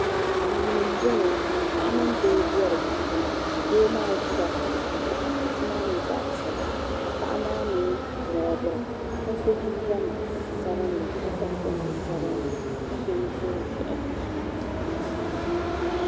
Duuni m boŋɔ paɣa mini doo be di puuni doo maa ʒila kuɣusi zuɣu ka kuɣusi maa nyɛ zaɣa piɛla ka paɣa maa mee moobira ka so jinjiɛm sabinli ka piri soksi sabinli ka su nusuri ʒehi.